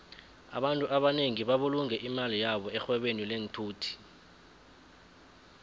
abantfu abanengi babulunge imali yabo erhwebeni lenthuthi